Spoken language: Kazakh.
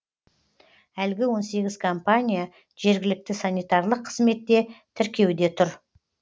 әлгі он сегіз компания жергілікті санитарлық қызметте тіркеуде тұр